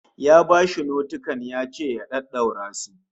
Ya bashi notikan yace masa ya daddaura su